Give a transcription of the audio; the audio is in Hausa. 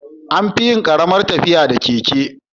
Anfiyin Karamar tafiya da keke